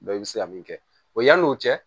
i bɛ se ka min kɛ o yan'o cɛ